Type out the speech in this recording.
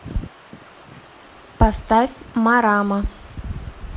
поставь марама